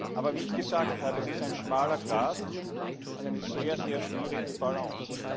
Aber wie ich gesagt habe Es ist ein schmaler Grat, eine sehr schwierige Balance.